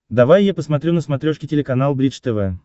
давай я посмотрю на смотрешке телеканал бридж тв